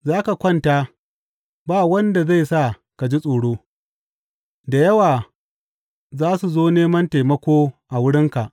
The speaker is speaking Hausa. Za ka kwanta, ba wanda zai sa ka ji tsoro, da yawa za su zo neman taimako a wurinka.